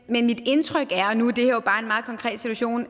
men mit indtryk og nu er det her jo bare en meget konkret situation